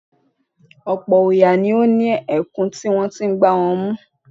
Ọ̀pọ̀̀ òòyà ni ó ní èèkú tí wọ́n ti ń gbá wọn mú.